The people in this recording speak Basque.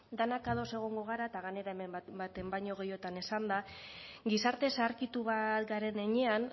denok ados egongo gara eta gainera hemen baten baina gehiagotan esanda gizarte zaharkitu bat garen heinean